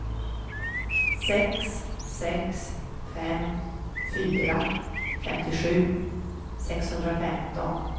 sex sex fem fyra femtiosju sexhundrafemton